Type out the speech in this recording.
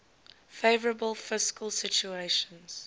favourable fiscal situation